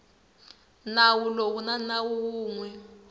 nawu lowu na nawu wun